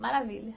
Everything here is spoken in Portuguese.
Maravilha.